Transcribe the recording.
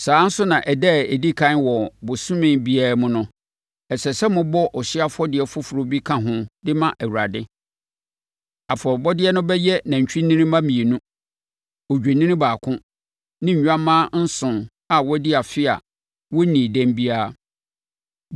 “ ‘Saa ara nso na ɛda a ɛdi ɛkan wɔ bosome biara mu no, ɛsɛ sɛ mobɔ ɔhyeɛ afɔdeɛ foforɔ bi ka ho de ma Awurade. Afɔrebɔdeɛ no bɛyɛ nantwinini mma mmienu, odwennini baako ne nnwammaa nson a wɔadi afe a wɔnnii dɛm biara.